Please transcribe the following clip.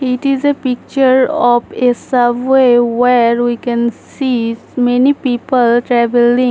It is a picture of a subway where we can see many people travelling.